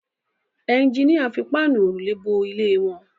Ẹjiníà fi Páànù òrùlé bo ilé wọn